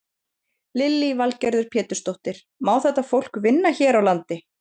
Lillý Valgerður Pétursdóttir: Má þetta fólk vinna hér á landi?